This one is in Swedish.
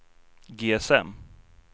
GSM